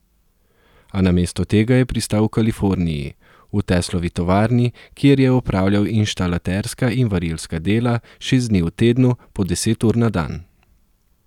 A namesto tega je pristal v Kaliforniji, v Teslovi tovarni, kjer je opravljal inštalaterska in varilska dela, šest dni v tednu, po deset ur na dan.